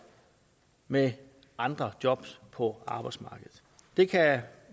med andre jobs på arbejdsmarkedet det kan